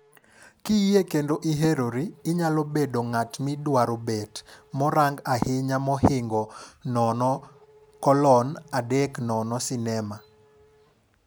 Kiyie kendo i herori, inyalo bedo ng'at midwaro bet. morang ahinya mohingo 0:30 sinema,